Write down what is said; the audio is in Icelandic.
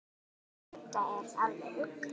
Þetta er alveg ruglað.